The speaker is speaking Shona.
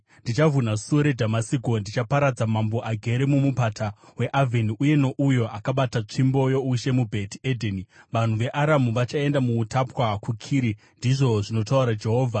Ndichavhuna suo reDhamasiko; ndichaparadza mambo agere mumupata weAvheni uye nouyo akabata tsvimbo youshe muBheti Edheni. Vanhu veAramu vachaenda muutapwa kuKiri,” ndizvo zvinotaura Jehovha.